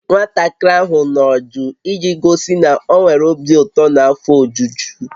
Nwatakịrị ahụ nọ jụụ iji gosi na ọ nwere obi ụtọ na afọ ojuju